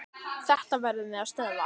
Þetta verðum við að stöðva.